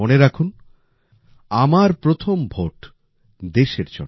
আর মনে রাখুন আমার প্রথম ভোটদেশের জন্য